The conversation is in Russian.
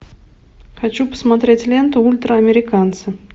хочу посмотреть ленту ультраамериканцы